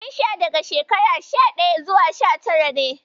Ƴan sha daga shekara sha ɗaya zuwa sha tara ne.